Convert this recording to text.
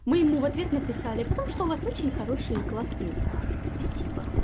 мы ему в ответ написали потому что у вас очень хорошие классные пары спасибо